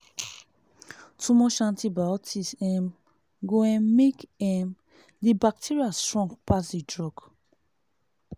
too much antibiotic um go um make um the bacteria strong pass the drug